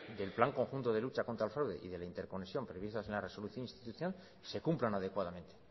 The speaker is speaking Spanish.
del plan conjunto de lucha contra el fraude y de la interconexión previstas en la resolución institucional se cumplan adecuadamente